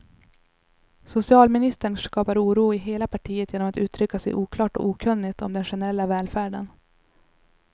Socialministern skapar oro i hela partiet genom att uttrycka sig oklart och okunnigt om den generella välfärden.